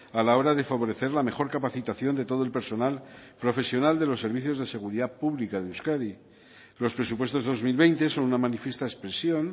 a la hora de favorecer la mejor capacitación de todo el personal profesional de los servicios de seguridad pública de euskadi los presupuestos dos mil veinte son una manifiesta expresión